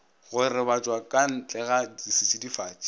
go robatšwa ka ntlega setšidifatši